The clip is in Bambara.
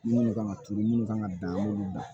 Minnu kan ka turu minnu kan ka dan an b'olu dan